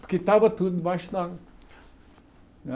Porque estava tudo embaixo d'água.